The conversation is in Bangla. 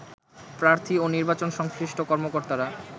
প্রার্থী এবং নির্বাচন সংশ্লিষ্ট কর্মকর্তারা